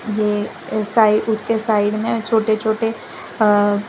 ये ऐसा ही उसके साइड में छोटे छोटे अ --